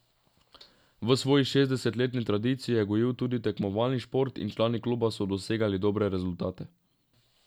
V svoji šestdesetletni tradiciji je gojil tudi tekmovalni šport in člani kluba so dosegali dobre rezultate.